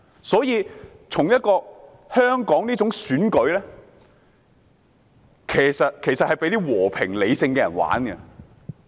所以，香港這種選舉形式是讓那些和平理性的人參與的。